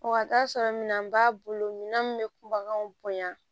O ka t'a sɔrɔ minɛn b'a bolo minan min bɛ kun baganw bonya